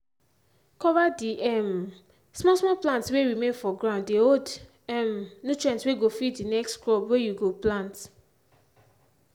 cover the um small small plant whey remain for ground dey hold um nutrients whey go feed the next crop whey you go plant.